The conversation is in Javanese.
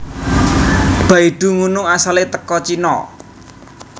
Baidu ngunu asale teko Cino